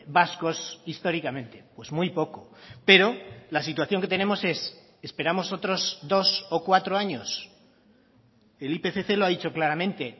vascos históricamente pues muy poco pero la situación que tenemos es esperamos otros dos o cuatro años el ipcc lo ha dicho claramente